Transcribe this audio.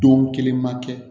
Don kelen ma kɛ